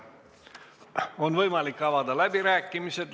On võimalik avada läbirääkimised.